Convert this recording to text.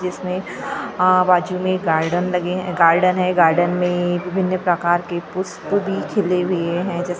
जिसमें अ बाजू में गार्डन लगे गार्डन हैं गार्डन में विभिन्न प्रकार के पुष्प भी खिले हुए हैं जैसे--